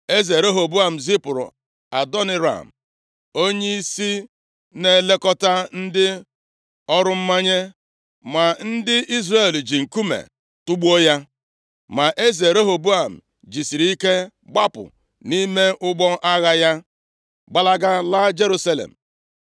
Eze Rehoboam zipụrụ Adoniram + 10:18 Maọbụ, Hadoram onyeisi na-elekọta ndị ọrụ mmanye ma ndị Izrel ji nkume tugbuo ya. Ma eze Rehoboam jisiri ike gbaba nʼime ụgbọ agha ya, gbalaga laa Jerusalem.